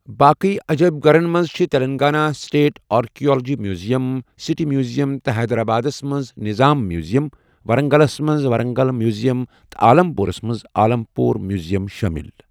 باقٕٕیہ عجٲیِب گَھرَن منٛز چھِ Telangana state archaeology museum, city museum تہٕ حیدرآبادَس منٛز نظام میوٗزِیَم، ورنگلَس منز ورنگل میوٗزِیَم تہٕ عالم پوٗرَس منٛز عالم پوٗر میوٗزِیَم شٲمِل ۔